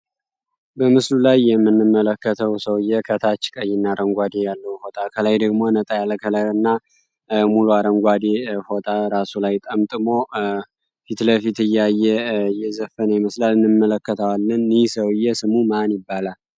በምስሉ ላይ የምንመለከተው ሰውየ ከታች ቀይና አረንጓዴ ያለሁ ፎጣ ከላይ ደግሞ፤ ነጣ ያለ ከለርና እና ሙሉ አረንጓዴ ፎጣ ራሱ ላይ ጠምጥሞ ፊትለፊት እያየ እየዘፈን የመስላል። እንመለከተዋልን ይህ ሰውየ ስሙ ማን ይባላል?